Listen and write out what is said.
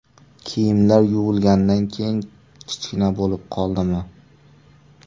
Kiyimlar yuvilganidan keyin kichkina bo‘lib qoldimi?